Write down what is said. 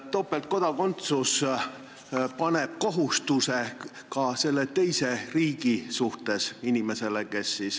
Topeltkodakondsus paneb inimesele kohustuse ka selle teise riigi suhtes.